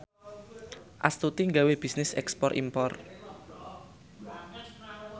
Astuti gawe bisnis ekspor impor